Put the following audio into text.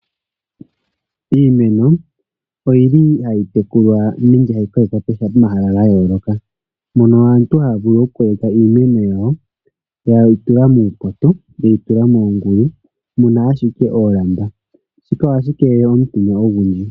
Iimeno oyili hayi tekulwa nenge hayi kokekwa pomahala gayooloka, mono aantu hayavulu okukokeka iimeno yawo yatula muupoto, yeyi tula moongulu muna ashike oolamba, shika ohashi keelele omutenya ogundji.